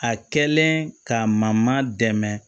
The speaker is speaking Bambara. A kɛlen ka ma dɛmɛ